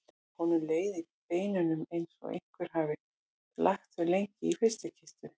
Honum leið í beinunum eins og einhver hefði lagt þau lengi í frystikistu.